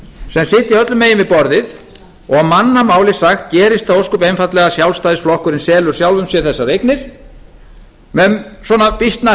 sem sitja öllum megin við borðið og á mannamáli sagt gerist það ósköp einfaldlega að sjálfstæðisflokkurinn selur sjálfum sér þessar eignir með svona býsna